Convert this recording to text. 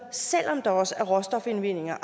selv om der også er råstofindvindinger